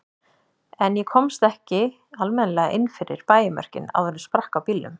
En ég komst ekki almennilega inn fyrir bæjarmörkin áður en sprakk á bílnum.